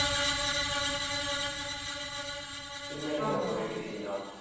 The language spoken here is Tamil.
cinematic ஆ இருக்கும்ல editing ல